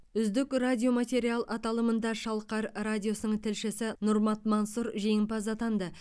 үздік радиоматериал аталымында шалқар радиосының тілшісі нұрмат мансұр жеңімпаз атанды